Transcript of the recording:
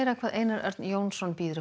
hvað Einar Örn Jónsson býður upp